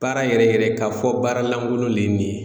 Baara yɛrɛ yɛrɛ ka fɔ baara lankolon le ye nin ye